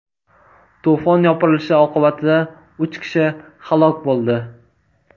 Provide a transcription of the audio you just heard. To‘fon yopirilishi oqibatida uch kishi halok bo‘ldi .